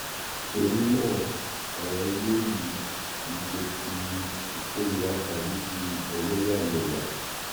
torí náà ọrọ ilé yìí kì í ṣe ti ìkóríra tàbí ti ẹlẹyàmẹyà